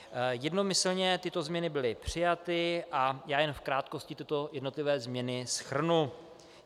Jednomyslně tyto změny byly přijaty a já jen v krátkosti tyto jednotlivé změny shrnu.